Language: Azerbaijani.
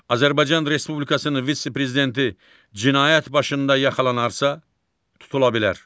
Azərbaycan Respublikasının vitse-prezidenti cinayət başında yaxalanarsa, tutula bilər.